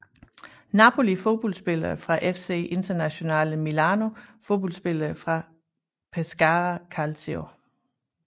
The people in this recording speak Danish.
Napoli Fodboldspillere fra FC Internazionale Milano Fodboldspillere fra Pescara Calcio